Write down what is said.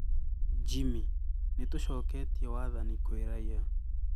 Jimmy: Nitucoketie wathani kwi raia